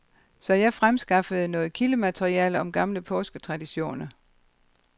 Så jeg fremskaffede noget kildemateriale om gamle påsketraditioner.